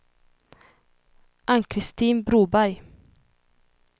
Ann-Christin Broberg